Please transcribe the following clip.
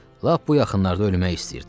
Lap bu yaxınlarda ölmək istəyirdim.